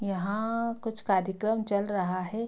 यहाँ कुछ कार्यक्रम चल रहा है।